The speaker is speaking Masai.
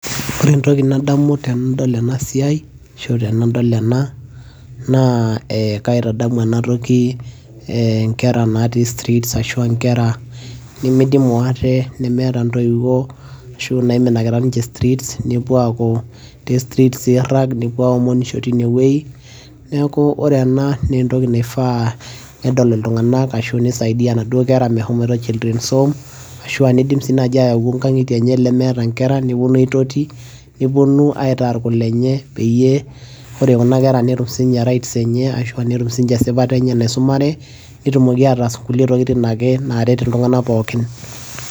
ore entoki nadamu tenadol ena siai ashu tenadol ena naa eh, kaitadamu enatoki eh inkera natii streets ashua inkera nimidimu ate nemeeta intoiwuo ashu naiminakita ninche streets nepuo aaku te streets irrag nepuo aomonisho tinewueji neeku ore ena naa entoki naifaa nedol iltung'anak ashu nisaidia inaduo mehomoito children's home ashua nidim sii naaji ayau inkang'itie enye lemeeta inkera neponu aitoti neponu aitaa irkulenye peyie ore kuna kera netum sininye rights enye ashua netum sinche esipata enye naisumare netumoki ataas kulie tokitin ake naret iltung'anak pookin.